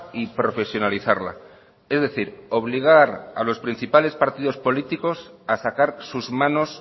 y profesionalizarla es decir obligar a los principales partidos políticos a sacar sus manos